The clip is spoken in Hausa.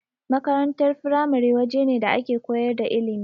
Makarantar firamare wajene da ake koyar da ilimi.